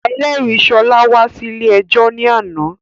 Ẹlẹ́rìí Ṣọlá wá sí ilé ẹjọ́ ní àná